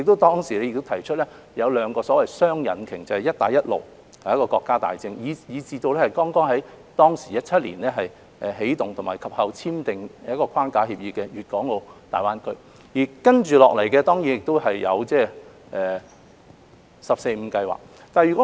當時亦提出所謂的雙引擎，就是"一帶一路"這個國家大政及在2017年起動和及後簽訂框架協議的粵港澳大灣區，接下來當然還有"十四五"規劃。